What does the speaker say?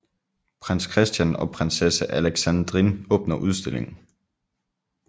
Prins Christian og prinsesse Alexandrine åbner udstillingen